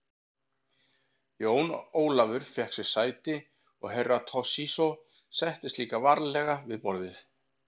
Jón Ólafur fékk sér sæti og Herra Toshizo settist líka varlega við borðið.